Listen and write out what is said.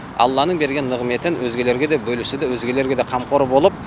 алланың берген нығметін өзгелерге де бөлісуді өзгелерге де қамқор болып